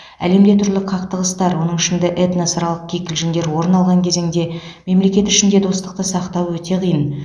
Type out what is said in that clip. әлемде түрлі қақтығыстар оның ішінде этносаралық кикілжіңдер орын алған кезеңде мемлекет ішінде достықты сақтау өте қиын